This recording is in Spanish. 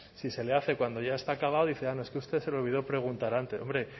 si se le hace cuando ya está acabado dice ah no es que a usted se le olvidó preguntar antes hombre